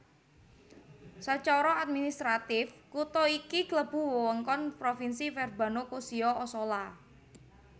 Sacara administratif kutha iki klebu wewengkon Provinsi Verbano Cusio Ossola